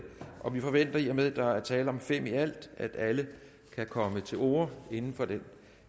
vi forventer i og med at der er tale om fem i alt at alle kan komme til orde inden for den